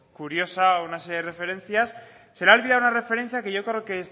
curiosa una serie de referencias se le ha olvidado una referencia que yo creo que